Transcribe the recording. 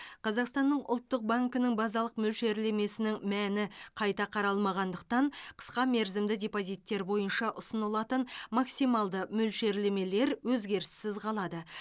қазақстанның ұлттық банкінің базалық мөлшерлемесінің мәні қайта қаралмағандықтан қысқа мерзімді депозиттер бойынша ұсынылатын максималды мөлшерлемелер өзгеріссіз қалады